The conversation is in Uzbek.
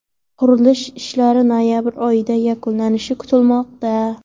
Qurilish ishlari noyabr oyida yakunlanishi kutilmoqda.